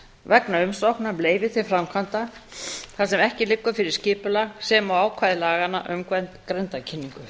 vegna umsóknar um leyfi til framkvæmda þar sem ekki liggur fyrir skipulag sem og ákvæði laganna um grenndarkynningu